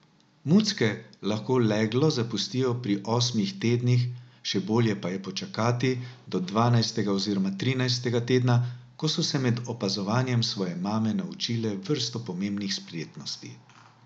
Mucke lahko leglo zapustijo pri osmih tednih, še bolje pa je počakati do dvanajstega oziroma trinajstega tedna, ko so se med opazovanjem svoje mame naučile vrsto pomembnih spretnosti.